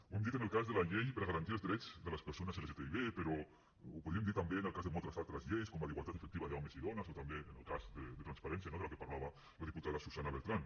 ho hem dit en el cas de la llei per a garantir els drets de les persones lgtbi però ho podríem dir també en el cas de moltes altres lleis com la d’igualtat efectiva d’homes i dones o també en el cas de transparència no de la que parlava la diputada susana beltrán